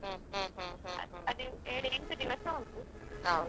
ಅಲ್ಲಿ ಏಳು ಎಂಟು ದಿವಸ ಉಂಟು.